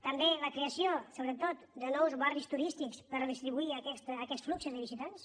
també la creació sobretot de nous barris turístics per distribuir aquests fluxos de visitants